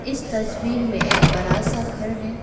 इस तस्वीर में एक बड़ा सा घर है।